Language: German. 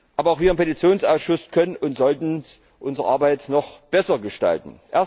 Aber auch wir im Petitionsausschuss können und sollten unsere Arbeit noch besser gestalten.